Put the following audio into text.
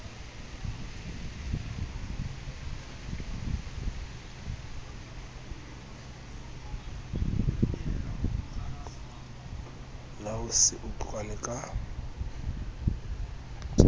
la ho se utlwane ka